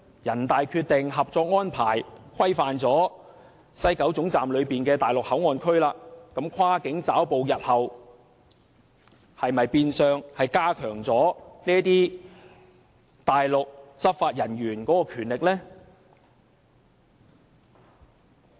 人大《決定》和《合作安排》規範了西九龍站內地口岸區，那麼，日後是否變相會加強內地執法人員跨境抓捕的權力呢？